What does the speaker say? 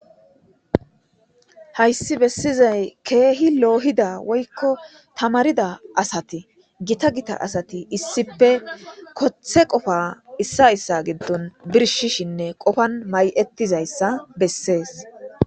Hayssi bessizay keehi loohida woykko tamarida asati gita gita asati issipe kothe qofa issa issa giddon birshishinne qofan may'ettizayssa bessees.